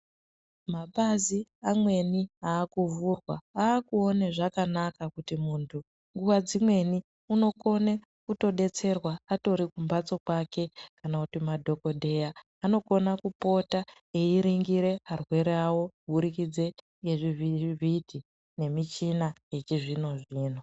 Mapazi amweni aakuvhurwa aakuona zvakanaka kuti munthu nguwa dzimweni u okona kutodetserwa atori kumbatso kwake kana kuti madhokodheya anokona kupota eiringira arwere awo kuburikidze nezvivhitivhiti nemichina yechizvino zvino.